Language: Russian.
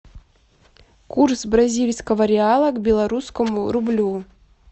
курс бразильского реала к белорусскому рублю